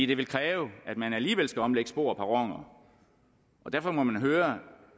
det vil kræve at man alligevel skal omlægge spor og perroner derfor må man høre